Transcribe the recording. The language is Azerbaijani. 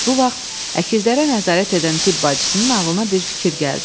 Bu vaxt əkizlərə nəzarət edən tibb bacısının ağlına bir fikir gəldi.